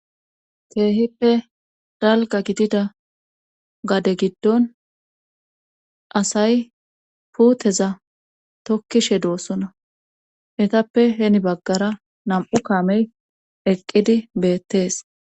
Keehippe dalga gidida gade giddon asay puuteza tokkishe doosona etappe heni baggara nam7u kaamey eqqidi beettees